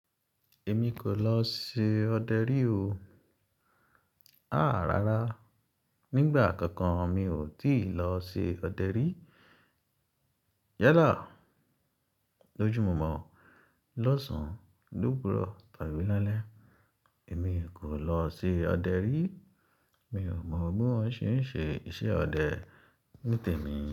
Èmi kò lọ ṣe ọdẹ rí o. Àá rara. Nígbà kankan mi ò tíì lọ ṣe ọdẹ rí. Yalá lóju mọ̀ọ́mọ̀ lọ́sàn-án lówúrọ̀ tàbí lálẹ́. Èmi kò lọ ṣe ọdẹ rí. Mi ò mọ̀ bí wọ́n ṣe ń ṣe iṣẹ́ ọdẹ ní tèmi.